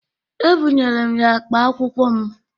Ebụnyere m ya akpa akwụkwọ m.